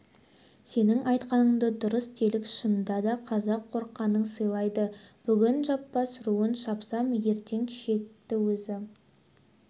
сенің айтқаныңды дұрыс делік шынында да қазақ қорыққанын сыйлайды бүгін жаппас руын шапсам ертең шекті өзі